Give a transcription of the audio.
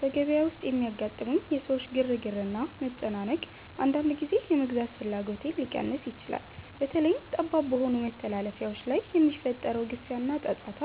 በገበያ ውስጥ የሚያጋጥሙኝ የሰዎች ግርግርና መጨናነቅ፣ አንዳንድ ጊዜ የመግዛት ፍላጎቴን ሊቀንስ ይችላል። በተለይም ጠባብ በሆኑ መተላለፊያዎች ላይ የሚፈጠረው ግፊያና ጫጫታ፣